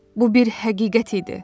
Bu bir həqiqət idi.